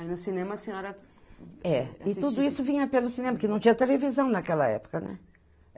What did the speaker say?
Aí no cinema a senhora... É, e tudo isso vinha pelo cinema, porque não tinha televisão naquela época, né?